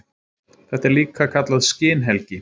Þetta er líka kallað skinhelgi.